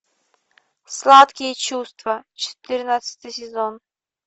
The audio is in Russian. сладкие чувства четырнадцатый сезон